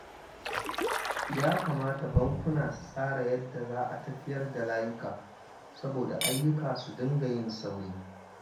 Ya kamata bankuna su tsara yadda za a tafiyar da layuka saboda ayyuka su dinga yin sauri